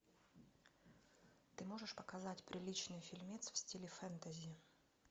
ты можешь показать приличный фильмец в стиле фэнтези